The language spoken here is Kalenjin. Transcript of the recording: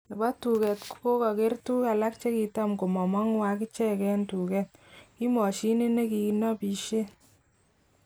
Nebo tuket kokoger tuguk alak chekitam komomogu akichek eng duket. Kimoshinit nekinobishen.